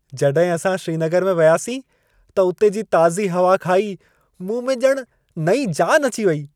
जॾहिं असां श्रीनगर में वियासीं त उते जी ताज़ी हवा खाई मूं में ॼणु नईं जान अची वई।